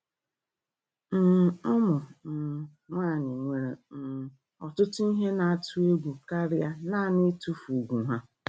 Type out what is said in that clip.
um Ụmụ um nwanyị nwere um ọtụtụ ihe na-atụ egwu karịa naanị itufu ùgwù ha.